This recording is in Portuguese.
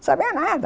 Sabia nada.